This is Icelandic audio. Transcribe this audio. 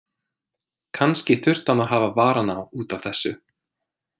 Kannski þurfti hann að hafa varann á út af þessu.